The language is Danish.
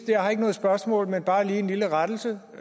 jeg har ikke noget spørgsmål men bare lige en lille rettelse og